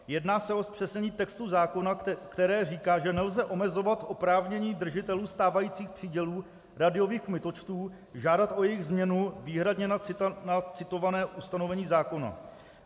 Jedná se o zpřesnění textu zákona, které říká, že nelze omezovat oprávnění držitelů stávajících přídělů rádiových kmitočtů žádat o jejich změnu výhradně na citované ustanovení zákona.